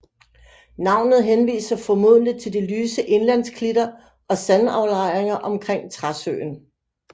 Navnet henviser formodentlig til de lyse indlandsklitter og sandaflejringer omkring Træsøen